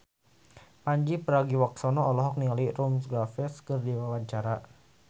Pandji Pragiwaksono olohok ningali Rupert Graves keur diwawancara